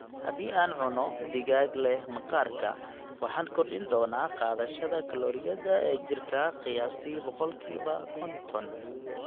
"Haddii aan cunno digaag leh maqaarka, waxaan kordhin doonaa qaadashada kalooriyada ee jirka qiyaastii boqolkiba konton"."